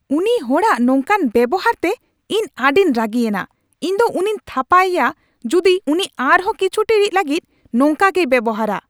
ᱩᱱᱤ ᱦᱚᱲᱟᱜ ᱦᱚᱲᱟᱜ ᱱᱚᱝᱠᱟᱱ ᱵᱮᱣᱦᱟᱨᱛᱮ ᱤᱧ ᱟᱹᱰᱤᱧ ᱨᱟᱹᱜᱤᱭᱮᱱᱟ ᱾ ᱤᱧ ᱫᱚ ᱩᱱᱤᱧ ᱛᱷᱟᱯᱟ ᱤᱭᱟ ᱡᱩᱫᱤ ᱩᱱᱤ ᱟᱨᱦᱚᱸ ᱠᱤᱪᱷᱩ ᱴᱤᱲᱤᱡ ᱞᱟᱹᱜᱤᱫ ᱱᱚᱝᱠᱟᱜᱮᱭ ᱵᱮᱣᱦᱟᱨᱼᱟ ᱾